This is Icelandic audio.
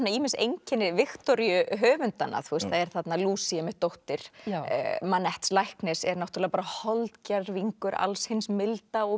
ýmis einkenni Viktoríu höfundanna það er þarna Lucy einmitt dóttir læknis er holdgervingur alls hins milda og